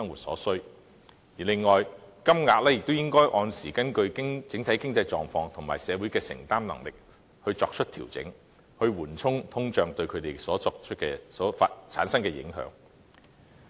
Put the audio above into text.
此外，金額亦應定時根據整體經濟狀況及社會的承擔能力作出調整，緩衝通脹對他們產生的影響。